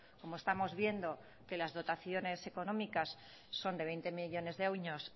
como estamos viendo que las dotaciones económicas son de veinte millónes